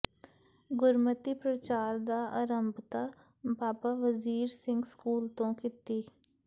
ਗੁਰਮਤਿ ਪ੍ਰਚਾਰ ਦੀ ਆਰੰਭਤਾ ਬਾਬਾ ਵਜ਼ੀਰ ਸਿੰਘ ਸਕੂਲ ਤੋਂ ਕੀਤੀ